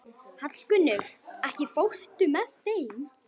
Hallgunnur, ekki fórstu með þeim?